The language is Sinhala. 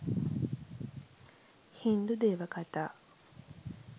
හින්දු දේව කතා